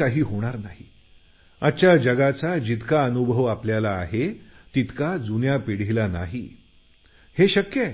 का आपल्याला जितका अनुभव आहे तितक्या जुन्या पिढीला या जगाचा नाही